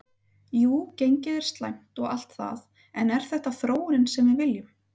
Jú gengið er slæmt og allt það en er þetta þróunin sem við viljum?